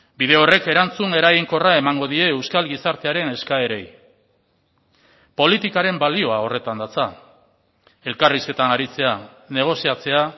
bide horrek erantzun eraginkorra emango die euskal gizartearen eskaerei politikaren balioa horretan datza elkarrizketan aritzea negoziatzea